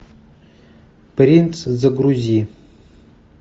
принц загрузи